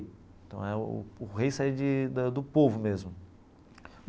Então é o o rei saía de do povo mesmo.